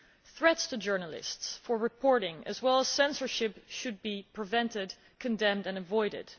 Threats to journalists for reporting, as well as censorship, should be prevented, condemned and avoided.